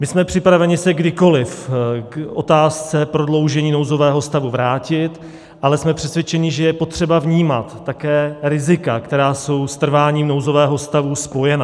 My jsme připraveni se kdykoli k otázce prodloužení nouzového stavu vrátit, ale jsme přesvědčeni, že je potřeba vnímat také rizika, která jsou s trváním nouzového stavu spojena.